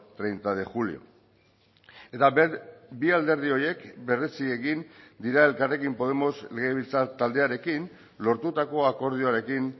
treinta de julio eta bi alderdi horiek berretsi egin dira elkarrekin podemos legebiltzar taldearekin lortutako akordioarekin